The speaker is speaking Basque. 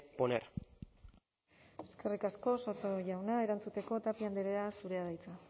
poner eskerrik asko soto jauna erantzuteko tapia andrea zurea da hitza